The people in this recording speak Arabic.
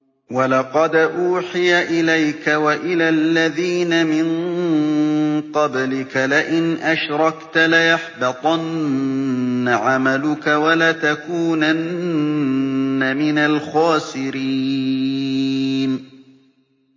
وَلَقَدْ أُوحِيَ إِلَيْكَ وَإِلَى الَّذِينَ مِن قَبْلِكَ لَئِنْ أَشْرَكْتَ لَيَحْبَطَنَّ عَمَلُكَ وَلَتَكُونَنَّ مِنَ الْخَاسِرِينَ